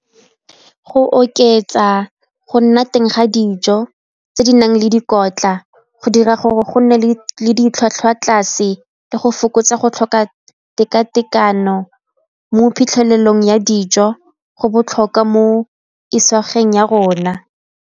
Go oketsa go nna teng ga dijo tse di nang le dikotla go dira gore go nne le ditlhwatlhwa tlase le go fokotsa go tlhoka tekatekano mo phitlhelelong ya dijo go botlhokwa mo isagweng ya rona.